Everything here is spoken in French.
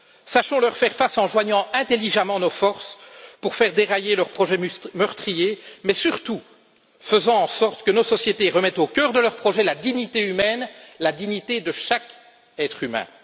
Sachons leur faire face, en joignant intelligemment nos forces pour faire dérailler leurs projets meurtriers, mais surtout en faisant en sorte que nos sociétés remettent au cœur de leur projet la dignité humaine, la dignité de chaque être humain.